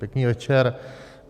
Pěkný večer.